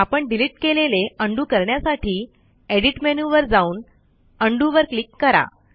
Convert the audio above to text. आपण डिलिट केलेले उंडो करण्यासाठी एडिट मेनूवर जाऊन उंडो वर क्लिक करा